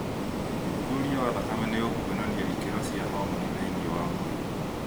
ũthuthuria wa thakame nĩũkuonania ikĩro cia homoni thĩiniĩ wa mwĩrĩ